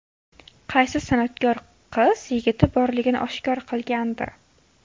Qaysi san’atkor qiz yigiti borligini oshkor qilgandi?